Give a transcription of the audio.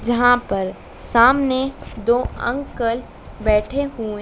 जहां पर सामने दो अंकल बैठे हुए--